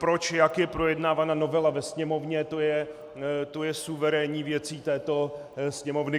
Proč, jak je projednávána novela ve Sněmovně, to je suverénní věcí této Sněmovny.